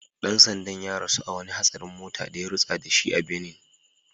Dan sandan ya rasu a wani hatsarin mota da ya rutsa da shi a Benin